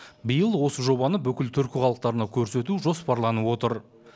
биыл осы жобаны бүкіл түркі халықтарына көрсету жоспарланып отыр